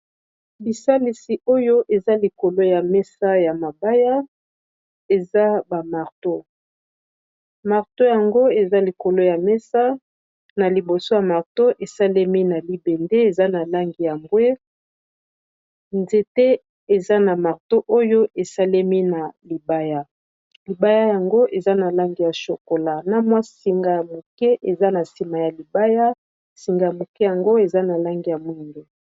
Bisalisi oyo eza likolo ya mesa ya mabaya, eza oyo na lopoto babengi marteau. Esalemi na libende eza na langi ya mbwe, nzete esalemi na libaya eza na langi ya shokola na mwa singa ya moke eza na suka ya libaya yango eza na langi ya mwindu.